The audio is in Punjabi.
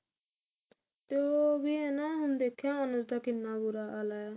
ਤੇ ਉਹ ਵੀ ਹਨਾ ਹੁਣ ਦੇਖਿਆ ਅਨੂ ਦਾ ਕਿੰਨਾ ਬੁਰਾ ਹਾਲ ਹੈ